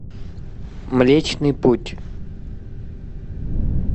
млечный путь